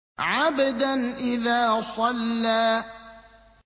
عَبْدًا إِذَا صَلَّىٰ